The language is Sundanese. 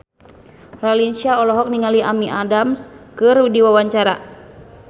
Raline Shah olohok ningali Amy Adams keur diwawancara